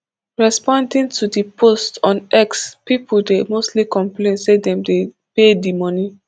responding to di posts on x pipo dey mostly complain say dem dey pay di money